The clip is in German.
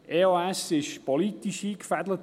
EOS wurde politisch eingefädelt.